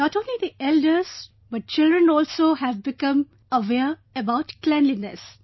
Not only the elders but children also have become aware about cleanliness